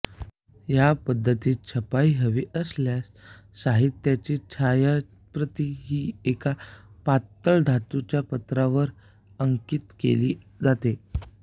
या पद्धतीत छपाई हवी असलेल्या साहित्याची छायाप्रत ही एका पातळ धातूच्या पत्र्यावर अंकित केली जाते